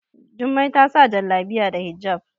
Jummai ta sa Jallabiya da hijab